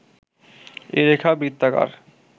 এ রেখা বৃত্তাকার